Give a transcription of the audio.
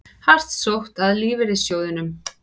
Hart sótt að lífeyrissjóðunum